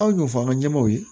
Aw y'o fɔ an ka ɲɛmɔw ye